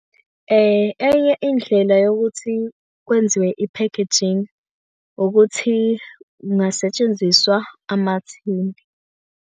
Enye indlela yokuthi kwenziwe i-packaging, ukuthi kungasetshenziswa amathini.